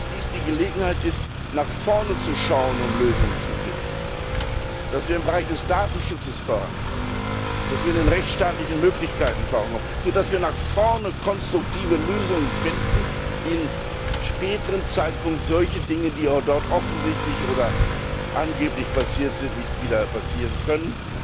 Dies ist die Gelegenheit, nach vorne zu schauen, um Lösungen zu finden, dass wir im Bereich des Datenschutzes vorankommen, dass wir bei den rechtsstaatlichen Möglichkeiten vorankommen, sodass wir nach vorne konstruktive Lösungen finden, damit sich zu späteren Zeitpunkten solche Dinge, die dort offensichtlich oder angeblich passiert sind, nicht wieder ereignen können.